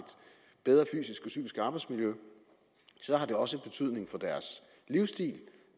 bedre fysisk og psykisk arbejdsmiljø har det også betydning for deres livsstil